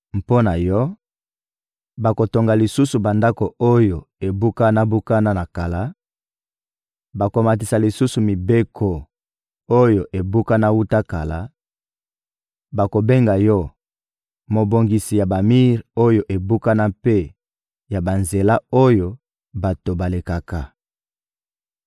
Mpo na yo, bakotonga lisusu bandako oyo ebukana-bukana na kala, bakomatisa lisusu miboko oyo ebukana wuta kala; bakobenga yo: ‹Mobongisi ya bamir oyo ebukana mpe ya banzela oyo bato balekaka.›